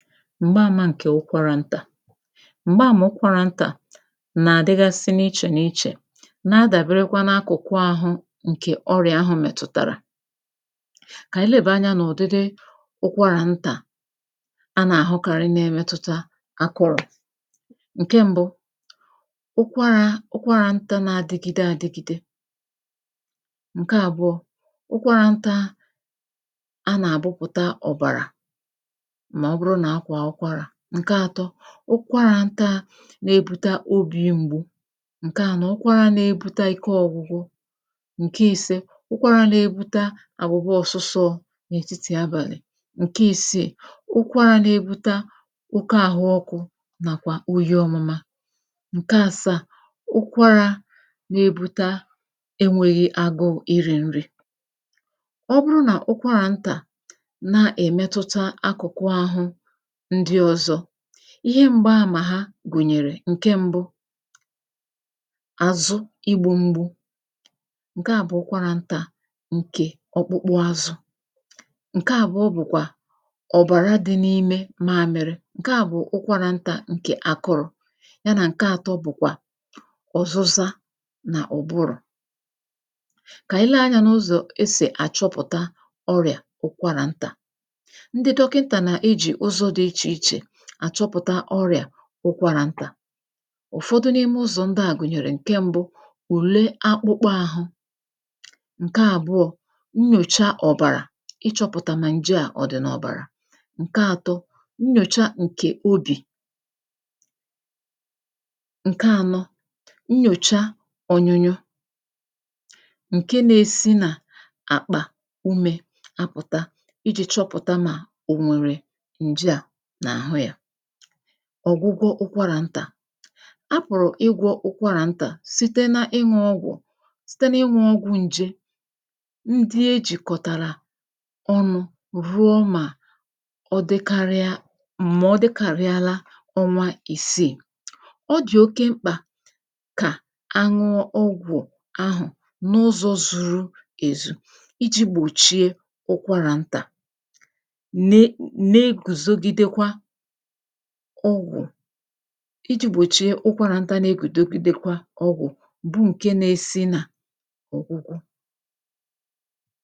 m̀gbaàmà ǹkè ụkwarà ntà m̀gbaàmà ụkwarà ntà nà-àdịgasị n’ichè n’ichè na-adàberekwa n’akụ̀kụ āhụ̄ ǹkè ọrị̀à ahụ̀ mètụ̀tàrà kà ànyị lebàa anyā n’ụ̀dịdị ụkwarà ntà a nà-àhụkarị na-emetụta akụrụ̀ ǹke m̄bụ̄ ụkwarā ụkwarà ntā na-adịgide adigide ǹke àbụọ̄ a nà-àgbụpụ̀ta ọ̀bàrà mà ọ bụrụ nà a kwàa ụkwarà ǹke ātọ̄ ụkwarà ntā na-ebute obī mgbu ǹke ānọ̄, ụkwarā na-ebuta ike ọ̄gwụgwụ ǹke īsē, ụkwarā na-ebuta agbụgbọ ọ̄sụsọ nà-ètitì abàlị̀ ǹke īsīì, ụkwarā na-ebuta oke āhụ̄ ọkụ̄ nàkwà oyi ọ̄mụma ǹke asaà, ụkwarā na-ebute enwēghi agụụ̄ irī nri ọ bụrụ nà ụkwarà ntà na-èmetụta akụ̀kụ āhụ̄ ndị ọ̄zọ̄ ihe m̀gbaàmà ha gụ̀nyèrè ǹke m̄bụ̄ àzụ igbū mgbu ǹke à bụ̀ ukwarà ntà ǹkè ọgbụgbụ āzụ̄ ǹke àbuọ bụ̀kwà ọ̀bàra dị n’ime maāmịrị, ǹke à bụ̀ ụkwarà ntà ǹkè akụrụ̄ ha nà ǹke ātọ̄ bụ̀kwà ọ̀zụza n’ụ̀bụrụ̀ kà ànyị lee anyā n’ụzọ̀ esì àchọpụ̀ta ọrị̀à ụkwarà ntà ndị dọkịntà nà-ejì ụzụ dị ichè ichè àchọpụ̀ta ụkwarà ntà ụ̀fọdụ n’ime ụzọ̀ ndịà gụ̀nyèrè ǹke m̄bụ̄; ùle akpụkpọ āhụ̄ ǹke àbụọ̄; nnyòcha ọ̀bàrà, ịchọ̄pụ̀tà nà ǹjeà ọ̀ dị̀ n’ọ̀bàrà ǹke ātọ̄; nnyòcha ǹkè obì ǹke ānọ̄ nnyòcha ọnyụnyụ ǹke na-esi nà àkpà umē apụ̀ta ijī chọpụ̀ta nà ò nwèrè ǹjeà n’àhụ yā ọ̀gwụgwọ ụkwarà ntà a pụ̀rụ̀ ịgwọ̄ ụkwarà ntà site na iṅụ̄ ọgwụ̀ site na inwụ̄ ọgwụ̄ nje ndị e jìkọ̀tàrà ọnụ̄ ruo mà ọ dịkarịa mà ọ dịkàriala ọnwa isiì ọ dị̀ oke mkpà kà a ṅụọ ọgwụ̀ ahụ̀ n’ụzọ̄ zuru èzù ijī gbòchie ụkwarà ntà ne na-egwùzogidekwa ọgwụ̀ ijī gbòchie ụkwarà ntā na-egwùdogidekwa ọgwụ̀ bụ ǹke na-esi nà ọ̀gwụgwọ